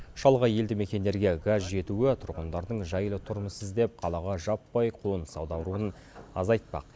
шалғай елді мекендерге газ жетуі тұрғындардың жайлы тұрмыс іздеп қалаға жаппай қоныс аударуын азайтпақ